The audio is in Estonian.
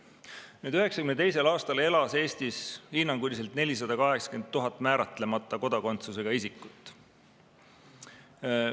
Nüüd, 1992. aastal elas Eestis hinnanguliselt 480 000 määratlemata kodakondsusega isikut.